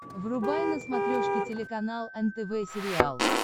врубай на смотрешке телеканал нтв сериал